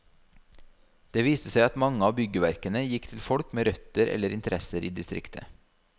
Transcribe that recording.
Det viste seg at mange av byggverkene gikk til folk med røtter eller interesser i distriktet.